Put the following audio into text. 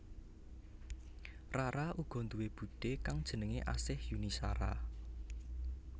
Rara uga duwé budhé kang jenengé Asih Yuni Shara